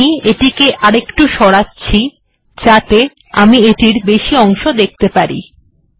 আমি এটিকে একটু সরাচ্ছি যাতে আমি এটির আরো বেশি অংশ দেখতে পাই